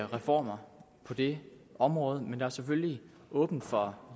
reformer på det område men der er selvfølgelig åbent for